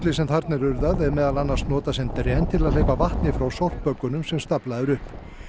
sem þarna er urðað er meðal annars notað sem dren til að hleypa vatni frá sem staflað er upp